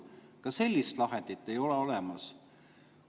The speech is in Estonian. Ka sellist lahendit ei ole olemas.